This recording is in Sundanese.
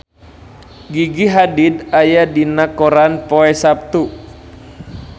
Gigi Hadid aya dina koran poe Saptu